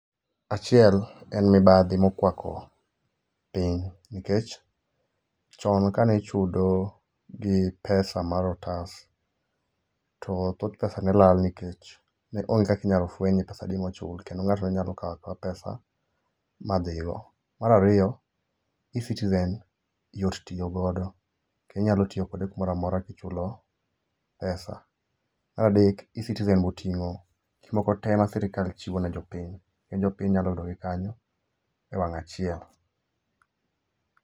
Achiel en mid+badhi mokwako piny. Nikech chon kane ichudo gi pesa mar otas, to thoth pesa ne lala nikech ok ne onge kaka inyalo fueny ni [®cs] pesa adi mochul. Kendo ng'ato ne nyalo kawo akawa pesa ma dhigo. Mar ariyo, eCitizen yot tiyo godo. Kendo inyalo tiyo kode kumoro amora kichulo pesa . Mar adek, eCitizen be oting'o gik moko te ma sirkal chiwo ne jopiny. Kendo jopiny nyalo yudogi kanyo ewang' achiel.